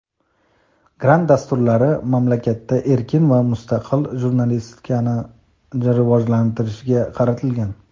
grant dasturlari mamlakatda erkin va mustaqil jurnalistikani rivojlantirishga qaratilgan.